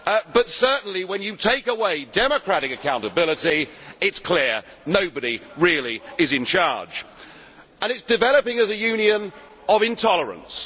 know. But certainly when you take away democratic accountability it is clear that nobody really is in charge and it is developing as a Union of intolerance.